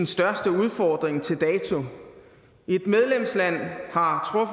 største udfordring til dato et medlemsland har